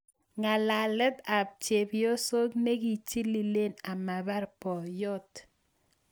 Ng'alalet ap chepyoso nekichililee amapar boiyot